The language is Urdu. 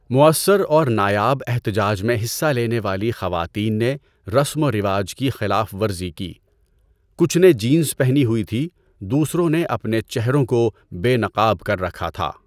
مؤثر اور نایاب احتجاج میں حصہ لینے والی خواتین نے رسم و رواج کی خلاف ورزی کی، کچھ نے جینز پہنی ہوئی تھی، دوسروں نے اپنے چہروں کو بے نقاب کر رکھا تھا۔